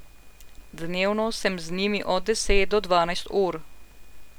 Dnevno sem z njimi od deset do dvanajst ur.